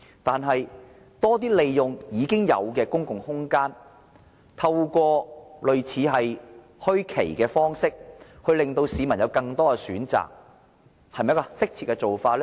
但是，多些利用現有公共空間，透過類似墟市的方式，令市民有更多選擇，這是不是適切的做法呢？